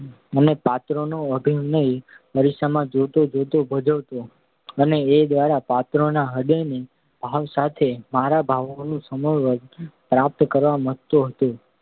અને પાત્રોનો અભિનય અરીસામાં જોતાં જોતાં ભજવતો હતો અને એ દ્વારા પાત્રોના હ્રદયના ભાવ સાથે મારા ભાવોનું સમત્વ પ્રાપ્ત કરવા મથતો હતો.